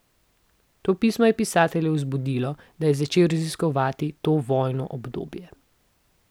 To pismo je pisatelja vzpodbudilo, da je začel raziskovati to vojno obdobje.